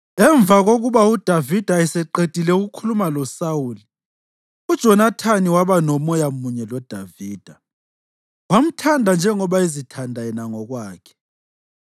Emva kokuba uDavida eseqedile ukukhuluma loSawuli, uJonathani waba moya munye loDavida, wamthanda njengoba ezithanda yena ngokwakhe.